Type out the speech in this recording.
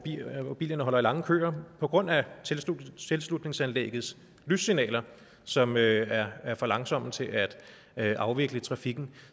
bilerne holder i lange køer på grund af tilslutningsanlæggets lyssignaler som er er for langsomme til at afvikle trafikken